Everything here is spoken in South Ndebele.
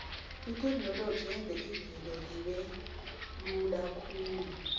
itheknoloji yenza izinto zibelula khulu